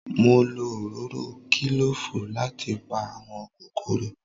Mo lo òróró kílòfù láti pa àwọn kòkòrò